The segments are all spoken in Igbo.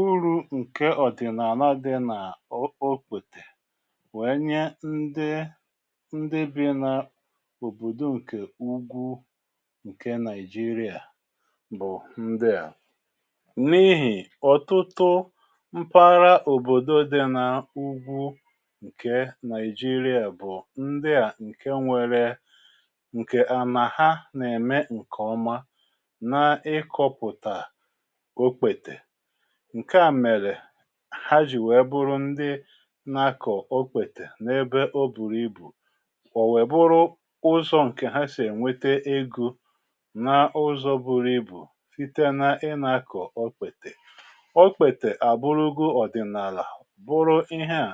uru̇ ǹkè ọ̀dị̀nàà na di nà-okpetè wèe nye ndi ndi bi n’òbòdò ǹkè ugwu ǹke nigeria bụ̀ ndià n’ihì ọ̀tụtụ mpara òbòdo di nà ugwu ǹkè nigeria bụ̀ ndià ǹke nwere ǹkè ànàha nà-ème ǹkèọma na ikoputa okpete ǹke à mèrè ha jì wèe bụrụ ndị na-akọ̀ okwètè n’ebe o bùrù ibù o wèe bụrụ ụzọ̀ ǹkè ha sì ènwete egȯ n’ụzọ̀ bụrụ ibù site na ị nȧ-akọ̀ okpètè okpètè àbụrụgo ọ̀dị̀nàlà bụrụ iheà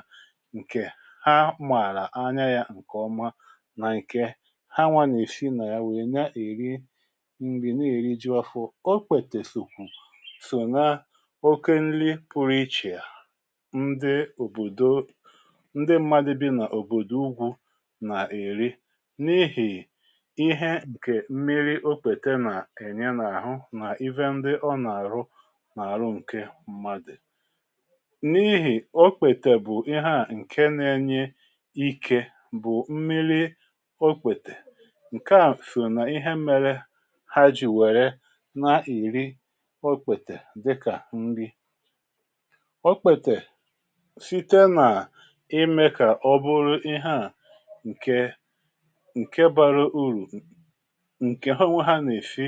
ǹkè ha mààlà anya yȧ ǹkè ọma na ǹke ha nwȧ nà èsi nà ya wèe na èri nri na eriju ọ̇fụ̇ okpètè sokwu so na oke nri pụrụ ichèà ndị òbòdo ndị mmadụ̇ bi nà òbòdò ugwù nà-èri n’ihì ihe ǹkè mmiri okpète nà-ènye n’àhụ nà ihe ndị ọ nà-àrụ nà-àrụ ǹke mmadụ̀ n’ihì okpètè bụ̀ ihe à ǹke na-enye ike bụ̀ mmiri okpètè ǹke à sọ nà ihe mere ha jì wère nà-èri ọkpètè dika nri okpete site nà imė kà ọ bụrụ ihe à ǹke ǹke bara urù ǹke ha onwe ha nà-èsi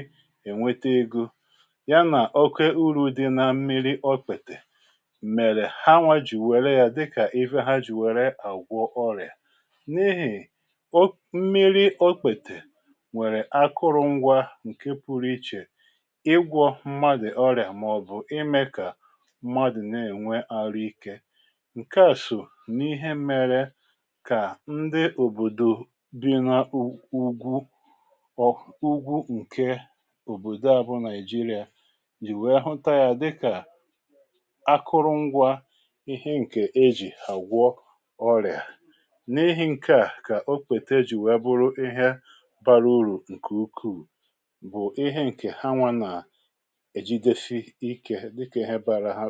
ènwete egȯ ya nà oke urù dị na mmiri ọkpètè mèrè ha nwajì wère yȧ dịkà ihe ha jì wère àgwọ ọrị̀à n’ihì mmiri ọkpètè nwèrè akụrụngwa ǹke pụrụ ichè igwo mmadụ̀ oria maobu ime ka mmadu na-ènwe arụ ike ǹke àsọ n’ihe mėrė kà ndị òbòdò bi na ugwu ọ̀ ugwu ǹkè òbòdò a bụ nàigeria jì wee hụta yȧ dịkà akụrụ ngwa ihe ǹkè e jì àgwọ ọrịà n’ ehi ǹke a kà o kwète e jì wee bụrụ ihe bara urù ǹkè ukwuù bụ̀ ihe ǹkè ha nwȧ nà èjidesi ikė dịkè hà bara ha ụ